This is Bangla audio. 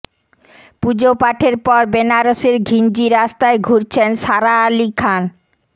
পুজো পাঠের পর বেনারসের ঘিঞ্জি রাস্তায় ঘুরছেন সারা আলি খান